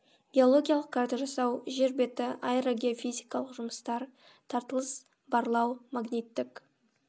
геологиялық карта жасау жер беті аэрогеофизикалық жұмыстар тартылыс барлау магниттік